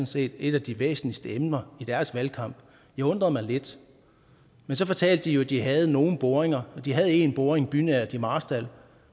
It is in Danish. set et af de væsentligste emner i deres valgkamp det undrede mig lidt men så fortalte de jo at de havde nogle boringer og at de havde en boring bynært i marstal